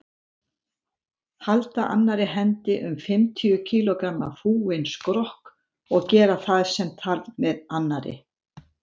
Halda annarri hendi um fimmtíu kílógramma fúinn skrokk og gera það sem þarf með annarri.